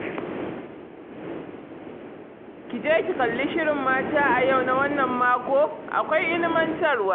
Ki je ki kalli shirin mata a yau na wannan mako. Akwai ilimantarwa